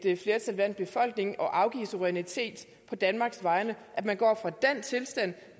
flertal blandt befolkningen at afgive suverænitet på danmarks vegne at man går fra den tilstand